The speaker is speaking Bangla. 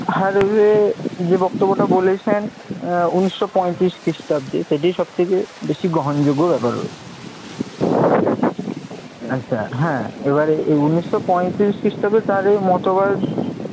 হার্ডএ যে বক্তব্যটা বলেছেন আহ উনিশ শো পয়ত্রিশ খ্রিস্টাব্দে সেটিই সবথেকে বেশি গ্রহণযোগ্য ব্যপার রয়েছে। ঠিক আছে আচ্ছা এবারে এই উনিশ শো পয়ত্রিশ খ্রিস্টাব্দে তার এই মতবাদ